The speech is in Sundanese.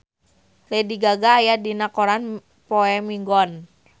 Lady Gaga aya dina koran poe Minggon